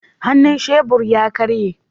Hannun shebur ya karye